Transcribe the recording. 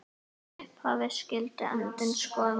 Í upphafi skyldi endinn skoða.